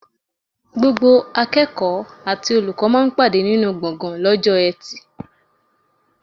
Gbogbo akẹ́kọ̀ọ́ àti olùkọ́ máa ń pàdé nínú gbọ̀ngan lọ́jọ́ eti.